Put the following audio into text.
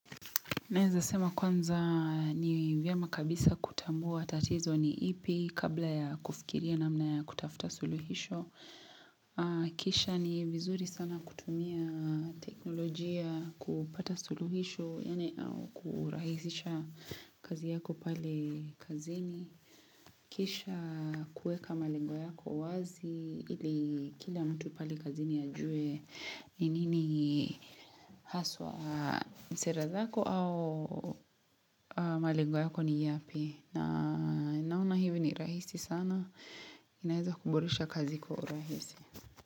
Naeza sema kwanza ni vyema kabisa kutambua tatizo ni ipi kabla ya kufikiria namna ya kutafuta suluhisho. Kisha ni vizuri sana kutumia teknolojia kupata suluhisho, yaani au kurahisisha kazi yako pale kazini. Kisha kuweka malengo yako wazi ili kila mtu pale kazini ajue. Ni nini haswa ni sera zako au malengo yako ni yapi na naona hivi ni rahisi sana, inaeza kuboresha kazi kwa urahisi.